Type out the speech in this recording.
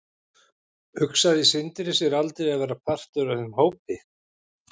Hugsaði Sindri sér aldrei að vera partur af þeim hópi?